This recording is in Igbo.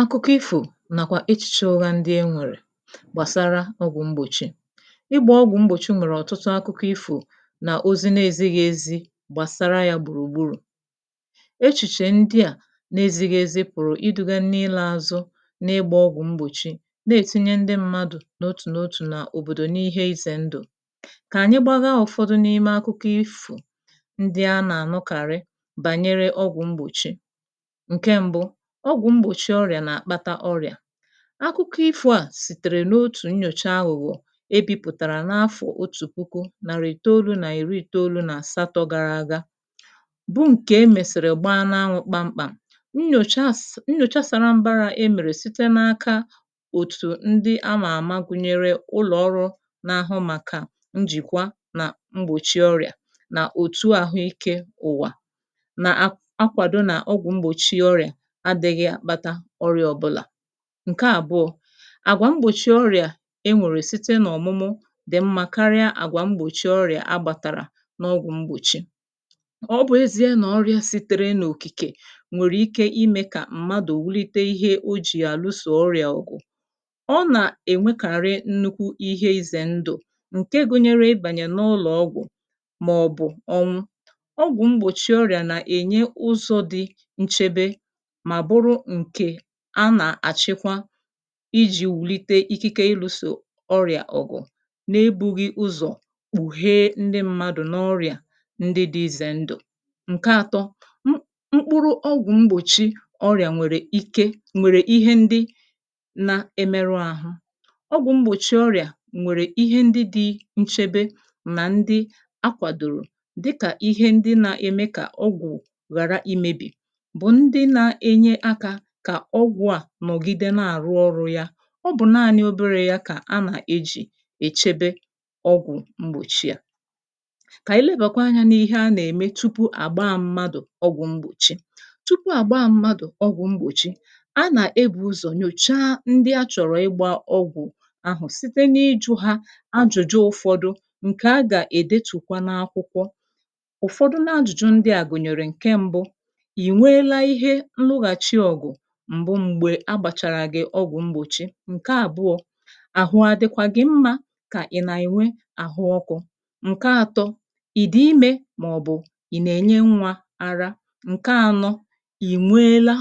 Akụkọ ifo nàkwà echìche ụgha ndị e nwèrè gbàsara ọgwụ̀ mgbòchi. Ịgbȧ ọgwụ̀ mgbòchi nwèrè ọ̀tụtụ akụkọ ifo nà ozi na-ezighi ezi gbàsara yȧ gbùrùgburù. Echìchè ndị à na-ezighi ezi pụ̀rụ̀ iduga n’ịlȧ ȧzụ n’ịgbȧ ọgwụ̀ mgbòchi na-ètinye ndị mmadụ̀ n’otù n’otù na òbòdò n’ihe izè ndụ̀. Kà ànyị gbagha ụ̀fọdụ n’ime akụkọ ifo ndị a nà ànụkàrị bànyere ọgwụ̀ mgbòchi. Nke mbụ: Ọgwụ̀ mgbòchi ọrịà nà-àkpata ọrịà. Akụkọ ifo à sìtèrè n’otù nnyòcha aghụ̀ghọ̀ e bipụ̀tàrà n’afọ̀ otù puku nàrị̀ itolu nà ìri itolu nà asátọ gara aga, bụ nke emèsìrì gba n’anwụ̇ kpamkpam. Nnyòcha sa nnyòcha sàra mbara emèrè site n’aka òtù ndi amà àma gụ̀nyere ụlọ̀ọrụ na-ahụ màkà njìkwa nà mgbòchi ọrịà nà òtù àhụ ike ụ̀wà na-akwàdo nà ọgwụ̀ mgbòchi ọrịà adịghị akpata ọrịa ọbụla. Nke àbụọ: Àgwà mgbòchi ọrịà e nwèrè site n’ọ̀mụmụ dì mmȧ karịa àgwà mgbòchi ọrịà a gbàtàrà n’ọgwụ̇ mgbòchi. Ọ bụ̀ ezie nà ọrịà si̇tere n’òkìkè nwèrè ike imė kà mmadụ̀ wùlite ihe o jì àlụsò ọrịà ọ̀gụ̀. Ọ nà-ènwekàrị nnukwu ihe izè ndụ̀ ǹke gụnyere ịbànyè n’ụlọ̀ ọgwụ̀ màọ̀bụ̀ ọnwụ. Ọgwụ mgbchi ọrịa na enye ụzọ dị nchebe ma bụrụ nke anà-àchịkwa iji̇ wùlite ikike iluso ọrịà ọ̀gụ̀ n’ebughi ụzọ̀ kpụ̀hee ndị mmadụ̀ n’ọrịà ndị di izè ndụ̀. Nke ȧtọ̇: M mkpụrụ ọgwụ mgbòchi ọrịà nwèrè ike nwèrè ihe ndị na-emerụ ȧhụ̇. Ọgwụ mgbòchi ọrịà nwèrè ihe ndị dị nchebe nà ndị akwàdòrò dịkà ihe ndị na-eme kà ọgwụ ghàra imebì bụ ndị na enye aka kà ọgwụ̀ à nọ̀gide na-àrụ ọrụ ya. Ọ bụ̀ naanị̇ obere ya kà a nà-ejì èchebe ọgwụ̀ mgbòchi a. Ka elebàkwa anyȧ n’ihe a nà-ème tupu àgba mmadụ̀ ọgwụ̀ mgbòchi. Tupu àgba mmadụ̀ ọgwụ̀ mgbòchi, a nà-ebù ụzọ̀ nyòcha ndị achọ̀rọ̀ ịgbȧ ọgwụ̀ ahụ̀ site n’ijụ̇ hȧ ajụ̀jụ ụ̀fọdụ ǹkè a gà-èdetùkwa n’akwụkwọ. Ụfọdụ na-ajụ̀jụ ndị à gụ̀nyèrè: Nke mbụ: I nweela ihe nlụghàchi ọ̀gụ̀ m̀gbu m̀gbè agbàchàrà gị̇ ọgwụ̀ mgbòchi? Nke àbụọ̇: Ahụ adịkwa gị mma kà ị̀ nà ènwe àhụ ọkụ̇? Nke àtọ: Ị dị imė màọ̀bụ̀ ị̀ nà-ènye nwȧ ara? Nke ànọ: I nweela